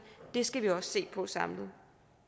og det skal vi også se på samlet